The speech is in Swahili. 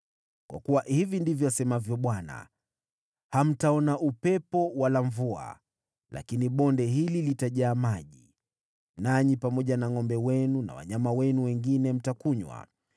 Kwa kuwa hivi ndivyo asemavyo Bwana : Hamtaona upepo wala mvua, lakini bonde hili litajaa maji, nanyi pamoja na ngʼombe wenu na wanyama wenu wengine mtakunywa.